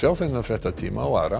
þennan fréttatíma og aðra